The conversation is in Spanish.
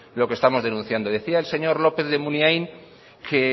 lo que estamos denunciando decía el señor lópez de munain que